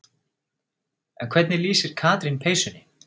En hvernig lýsir Katrín peysunni?